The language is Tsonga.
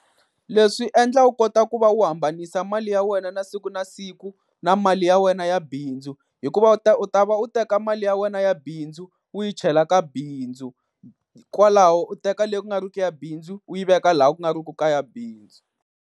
Leswi swi endla u kota ku va u hambanisa mali ya wena ya siku na siku, na mali ya wena ya bindzu. Hikuva u ta u ta va u teka mali ya wena ya bindzu u yi chela ka bindzu, kwalaho u teka leyi ku nga riki ya bindzu u yi veka laha ku nga riku ka ya bindzu.